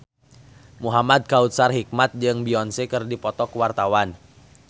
Muhamad Kautsar Hikmat jeung Beyonce keur dipoto ku wartawan